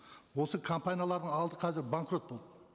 осы компаниялардың алды қазір банкрот болды